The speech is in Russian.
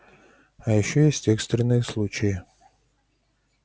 а ещё есть экстренные случаи